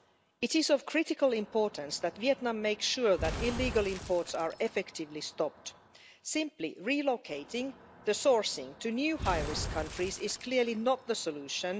It is of critical importance that Vietnam makes sure illegal imports are effectively stopped simply relocating the sourcing to new high risk countries is clearly not the solution.